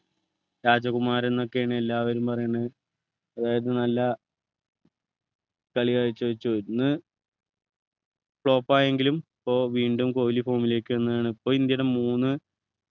രാജകുമാരൻ എന്നൊക്കെയാണ് എല്ലാരും പറയുന്നത് അതായത് നല്ല കളി കാഴ്ചവച്ചു ഇന്ന് flop ആയെങ്കിലും പ്പോ വീണ്ടും കൊഹ്‌ലി form ലേക്ക് വന്നു ഇപ്പോൾ ഇന്ത്യയുടെ മൂന്ന്